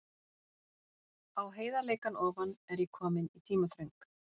Um þetta leyti var kominn hugur í pabba varðandi fasteignakaup.